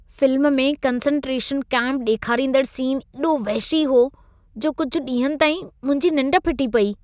Film में concentration camp ॾेखांरींदड़ scene एॾो वहिशी हो जो कुझि ॾींहनि ताईं मुंहिंजी निंड फिटी पेई।